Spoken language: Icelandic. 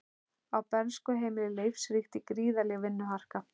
Á bernskuheimili Leifs ríkti gríðarleg vinnuharka.